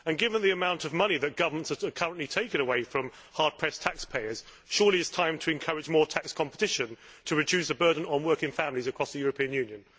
Given the amount of money that governments are currently taking away from hard pressed taxpayers, surely it is time to encourage more tax competition to reduce the burden on working families across the European Union.